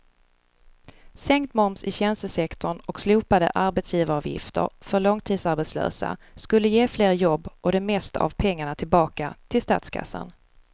Sänkt moms i tjänstesektorn och slopade arbetsgivaravgifter för långtidsarbetslösa skulle ge fler jobb och det mesta av pengarna tillbaka till statskassan.